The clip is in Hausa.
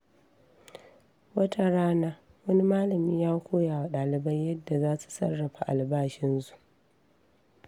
Wata rana, wani malami ya koya wa dalibai yadda za su sarrafa albashinsu.